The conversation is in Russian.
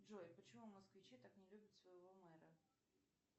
джой почему москвичи так не любят своего мэра